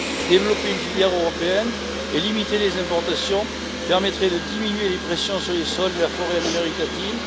Développer une filière européenne et limiter les importations permettraient de diminuer les pressions sur les sols et la forêt en Amérique latine.